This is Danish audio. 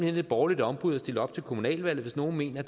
et borgerligt ombud at stille op til kommunalvalget hvis nogen mener